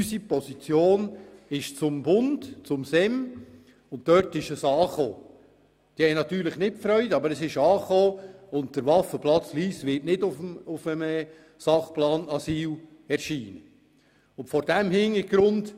Unsere Position wurde vom SEM gehört und es hatte natürlich keine Freude, aber die Nachricht ist dort angekommen und der Waffenplatz Lyss wird nicht in den Sachplan Asyl aufgenommen.